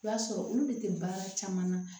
I b'a sɔrɔ olu de tɛ baara caman na